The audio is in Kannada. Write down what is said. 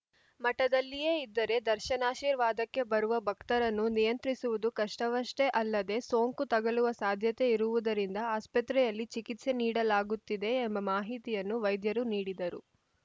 ಮಠದಲ್ಲಿಯೇ ಇದ್ದರೆ ದರ್ಶನಾಶೀರ್ವಾದಕ್ಕೆ ಬರುವ ಭಕ್ತರನ್ನು ನಿಯಂತ್ರಿಸುವುದು ಕಷ್ಟವಷ್ಟೇ ಅಲ್ಲದೆ ಸೋಂಕು ತಗುಲುವ ಸಾಧ್ಯತೆ ಇರುವುದರಿಂದ ಆಸ್ಪತ್ರೆಯಲ್ಲಿ ಚಿಕಿತ್ಸೆ ನೀಡಲಾಗುತ್ತಿದೆ ಎಂಬ ಮಾಹಿತಿಯನ್ನು ವೈದ್ಯರು ನೀಡಿದರು